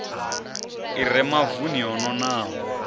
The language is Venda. i re mavuni o nonaho